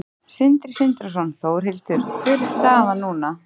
Sindri Sindrason: Þórhildur, hver er staðan núna?